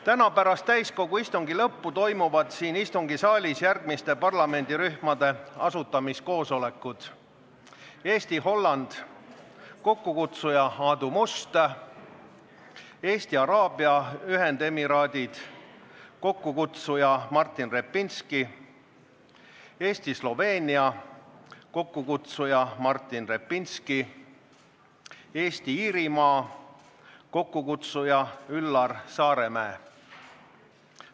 Täna pärast täiskogu istungi lõppu toimuvad siin istungisaalis järgmiste parlamendirühmade asutamiskoosolekud: Eesti-Holland, kokkukutsuja Aadu Must; Eesti – Araabia Ühendemiraadid, kokkukutsuja Martin Repinski; Eesti-Sloveenia, kokkukutsuja Martin Repinski; Eesti-Iirimaa, kokkukutsuja Üllar Saaremäe.